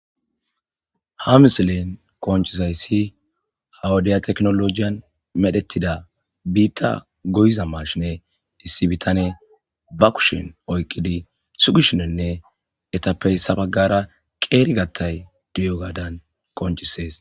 ha misilin koncizay si hawudiya teknolojiyan medhetida biitta goyiza mashine issi bitane ba kushin oykqidi sugishinenne etappey sabagara qeeri gattay diyo gaadan koncisees